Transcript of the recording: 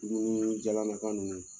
Dumuni jalanaka ninnu